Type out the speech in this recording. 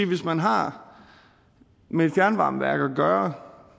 hvis man har med et fjernvarmeværk at gøre